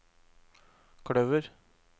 kløver